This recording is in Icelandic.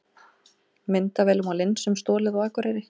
Myndavélum og linsum stolið á Akureyri